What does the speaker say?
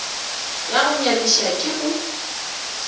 ya go nyamiša ke gore